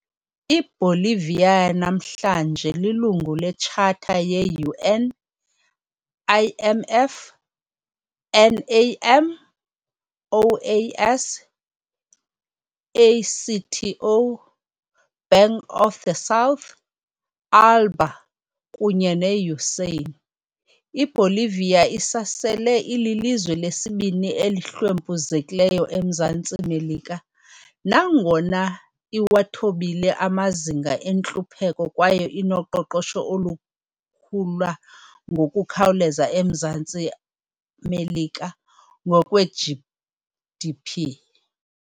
IBolivia yanamhlanje lilungu le-charter ye- UN, IMF, NAM, OAS, ACTO, Bank of the South, ALBA, kunye ne-USAN. IBolivia isasele ililizwe lesibini elihlwempuzekileyo eMzantsi Melika, nangona iwathobile amazinga entlupheko kwaye inoqoqosho olukhula ngokukhawuleza eMzantsi Melika, ngokweGDP.